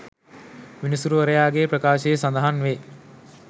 විනිසුරුවරයා ගේ ප්‍රකාශයේ සඳහන් වේ.